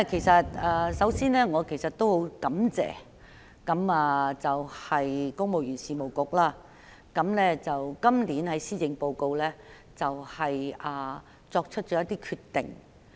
首先，我很感謝公務員事務局在本年度施政報告中作出一些決定。